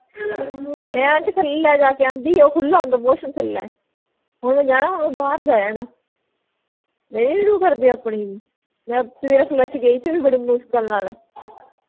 ਮੈਂ aunty ਥੱਲੇ ਜਾ ਕੇ ਆਂਦੀ ਓਹ ਖੁੱਲ੍ਹਾ ਹੁੰਦਾ washroom ਥੱਲੇ ਓਹਨੇ ਜਾਣਾ ਉਹ ਬਾਹਰ ਜਾਏ ਆਣਾ ਮੇਰੀ ਨੀ ਰੂਹ ਕਰਦੀ ਆਪਣੀ ਵੀ ਮੈਂ ਸਵੇਰੇ flush ਗਈ ਥੀ ਉਹ ਵੀ ਬੜੀ ਮੁਸ਼ਕਿਲ ਨਾਲ